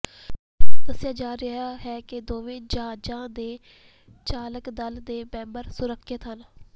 ਦੱਸਿਆ ਜਾ ਰਿਹਾ ਹੈ ਕਿ ਦੋਵੇਂ ਜਹਾਜ਼ਾਂ ਦੇ ਚਾਲਕ ਦਲ ਦੇ ਮੈਂਬਰ ਸੁਰੱਖਿਅਤ ਹਨ